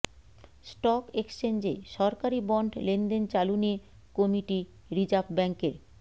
stock এক্সচেঞ্জে সরকারি bond লেনদেন চালু নিয়ে কমিটি রিজার্ভ ব্যাঙ্কের